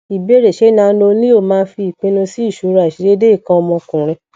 ìbéèrè ṣé nanoleo máa fi ipinnu si isoro aisedeede ikan omokunrin